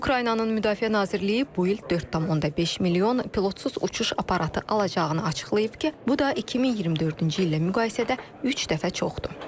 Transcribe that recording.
Ukraynanın Müdafiə Nazirliyi bu il 4,5 milyon pilotsuz uçuş aparatı alacağını açıqlayıb ki, bu da 2024-cü illə müqayisədə üç dəfə çoxdur.